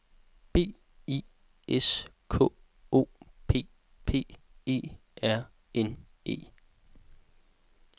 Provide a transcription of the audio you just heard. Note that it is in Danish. B I S K O P P E R N E